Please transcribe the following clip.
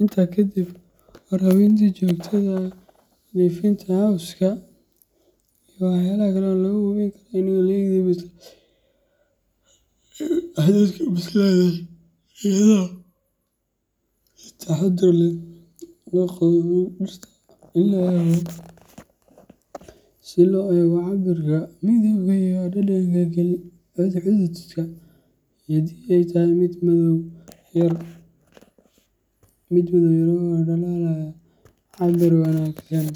Intaa ka dib, waraabinta joogtada ah, nadiifinta cawska, iyo Waxaa kale oo lagu hubin karaa in hadhukas bislaatay iyadoo si taxaddar leh loo qodo mid ka mid ah dhirta, si loo eego cabbirka, midabka, iyo dhadhanka galleyda. Haddii ay tahay mid madow yar oo dhalaalaya, cabbir wanaagsan